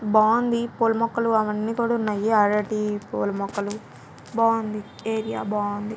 బావుంది పూల మొక్కలు అవి అన్ని కూడా ఉన్నాయి అరటి పూల మొక్కలు బావుంది ఏరియా బావుంది.